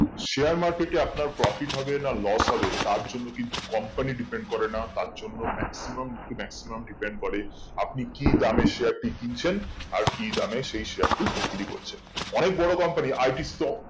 share market এ আপনার profit হবে না loss হবে তার জন্য কিন্তু company depend করে না তার জন্য maximum কি maximum depend করে আপনি কি দামে share টি কিনছেন আর কি দামে সেই share টি বিক্রি করছেন অনেক বড়ো company